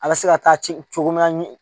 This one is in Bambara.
A bɛ se ka taa ci cogo min na